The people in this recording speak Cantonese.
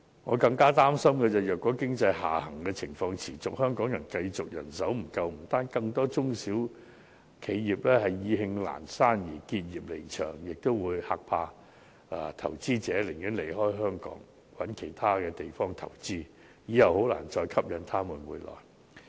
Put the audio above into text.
我更加擔心的是如經濟下行情況持續，香港繼續人手不足，不單令更多中小企因意興闌珊而結業離場，也會嚇怕投資者，令他們寧願離開香港，另覓其他地方投資，以後很難再吸引他們回來。